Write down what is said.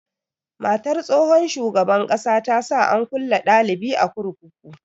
Matar tsohon shugaban ƙasa ta sa an kulle dalibi a kurkuku.